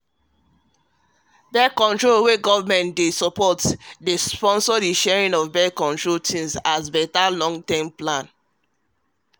birth-control wey government um dey back dey um sponsor the sharing of birth-control things as better long-term plan